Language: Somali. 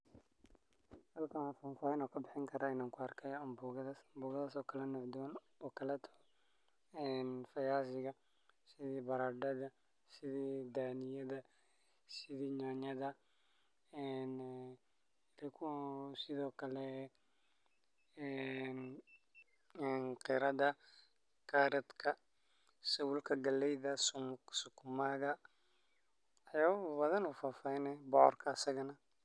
Halkan faahfaahin aan kabixin kara in aan kuarkaya amboogadha. amboogadhas oo kala nooc dugan oo kale viazi ga sidhi badadadha sidhi daaniya da sidhii nyanyadha en sidhookale qirada caroot ka sawulka galeyda sukuma ga waxyaaba badha oo faahfaahin e bocorka sagana.